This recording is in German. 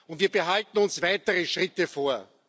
und wir behalten uns weitere Schritte vor.